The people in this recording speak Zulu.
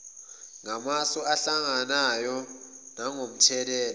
ngamasu enhlangano nangomthelela